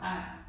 Nej